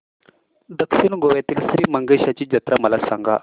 दक्षिण गोव्यातील श्री मंगेशाची जत्रा मला सांग